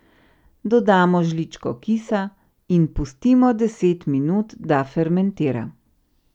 Dodamo žličko kisa in pustimo deset minut, da fermentira.